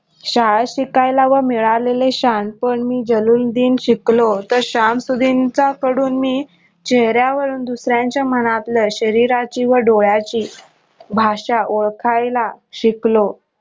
शाळा शिकायला व मिळालेले शहाणपण मी जल्लूल्लुद्धीन शिकलो तर शमशुद्धीनच्या कडून मी चेहऱ्या वरून दुसऱ्या यांच्या मनांतल्या शरीराची व डोळ्यांची भाषा ओळखायला शिकलो.